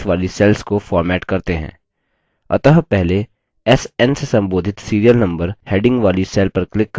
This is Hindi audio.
अतः पहले sn से संबोधित serial number heading वाली cell पर click करते हैं